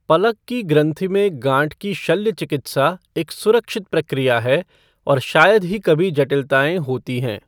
पलक की ग्रंथि में गांठ की शल्य चिकित्सा एक सुरक्षित प्रक्रिया है और शायद ही कभी जटिलताएं होती हैं।